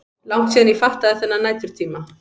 Langt síðan ég fattaði þennan næturtíma.